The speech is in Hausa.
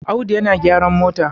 Audu yana gyran mota